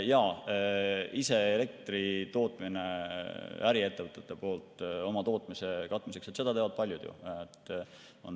Jaa, ise äriettevõtetes elektrit toota oma tootmise katmiseks – seda teevad ju paljud.